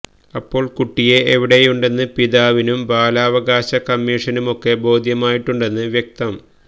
അപ്പോള് കുട്ടിയെ എവിടെയുണ്ടെന്ന് പിതാവിനും ബാലാവകാശ കമ്മിഷനുമൊക്കെ ബോധ്യമായിട്ടുണ്ടെന്ന് വ്യക്തം